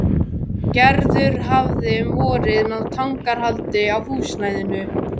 Gerður hafði um vorið náð tangarhaldi á húsnæðinu.